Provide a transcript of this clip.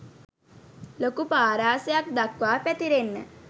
ලොකු පාරාසයක් දක්වා පැතිරෙන්න